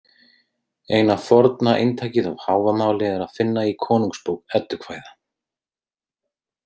Eina forna eintakið af Hávamáli er að finna í Konungsbók Eddukvæða.